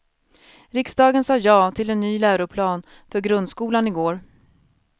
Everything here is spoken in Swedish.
Riksdagen sa ja till en ny läroplan för grundskolan i går.